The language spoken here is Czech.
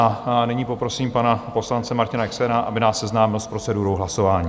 A nyní poprosím pana poslance Martina Exnera, aby nás seznámil s procedurou hlasování.